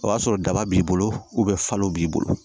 O y'a sɔrɔ daba b'i bolo falo b'i bolo